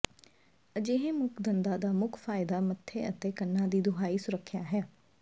ਅਜਿਹੇ ਮੁੱਖ ਦੰਦਾਂ ਦਾ ਮੁੱਖ ਫਾਇਦਾ ਮੱਥੇ ਅਤੇ ਕੰਨਾਂ ਦੀ ਦੁਹਾਈ ਸੁਰੱਖਿਆ ਹੈ